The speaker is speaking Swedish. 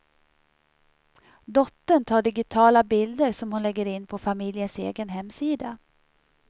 Dottern tar digitala bilder som hon lägger in på familjens egen hemsida.